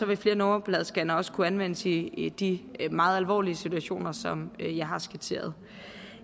vil flere nummerpladescannere også kunne anvendes i i de meget alvorlige situationer som jeg har skitseret